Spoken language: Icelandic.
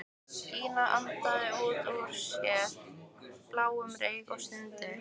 Gína andaði út úr sér bláum reyk og stundi.